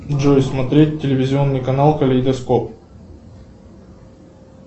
джой смотреть телевизионный канал калейдоскоп